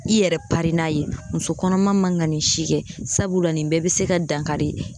I yɛrɛ pari n'a ye muso kɔnɔma man ga nin si kɛ sabula nin bɛɛ be se ka dankari